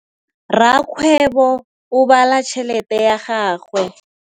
Rakgwêbô o bala tšheletê ya gagwe.